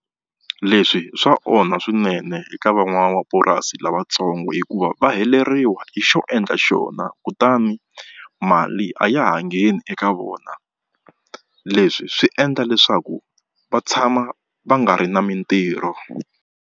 Leswi swa onha swinene eka van'wamapurasi lavatsongo hikuva va heleriwa hi xo endla xona kutani mali a ya ha ngheni eka vona leswi swi endla leswaku va tshama va nga ri na mitirho.